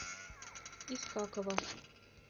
искакова